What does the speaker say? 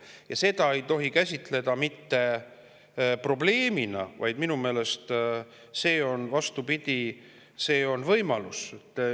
Ja seda ei tohi käsitleda mitte probleemina, vaid minu meelest see on, vastupidi, võimalus.